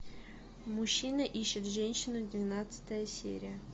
мужчина ищет женщину двенадцатая серия